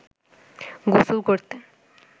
গোসল করতেন